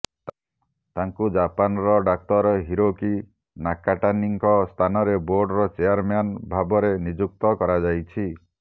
ତାଙ୍କୁ ଜାପାନର ଡାକ୍ତର ହିରୋକି ନାକାଟାନୀଙ୍କ ସ୍ଥାନରେ ବୋର୍ଡର ଚେୟାରମ୍ୟାନ୍ ଭାବରେ ନିଯୁକ୍ତ କରାଯାଇଛି